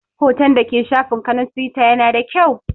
Hoton da ke shafin ka na Tiwita ya na da kyau